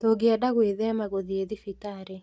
Tũngĩenda gwĩthema gũthiĩ thibitarĩ